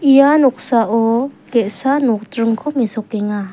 ia noksao ge·sa nokjringko mesokenga.